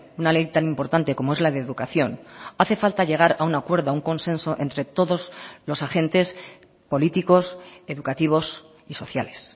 una ley tan importante como es la de educación hace falta llegar a un acuerdo a un consenso entre todos los agentes políticos educativos y sociales